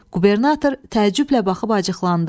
Qubernator təəccüblə baxıb acıqlandı.